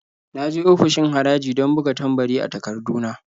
Na je ofishin haraji don buga tambari a takardu na.